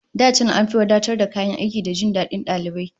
Da can an fi wadatar kayan aiki da jin dadin dalibai